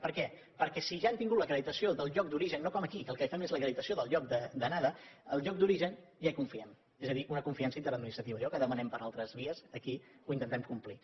per què perquè si ja han tingut l’acreditació del lloc d’origen no com aquí que el que fem és l’acreditació del lloc d’anada ja hi confiem és a dir una confiança interadministrativa allò que demanem per altres vies aquí ho intentem complir